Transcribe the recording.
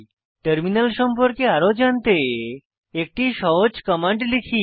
terminal সম্পর্কে আরো জানতে একটি সহজ কমান্ড লিখি